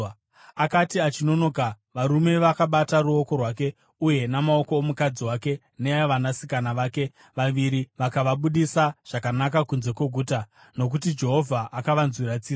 Akati achinonoka, varume vakabata ruoko rwake uye namaoko omukadzi wake neavanasikana vake vaviri vakavabudisa zvakanaka kunze kweguta, nokuti Jehovha akavanzwira tsitsi.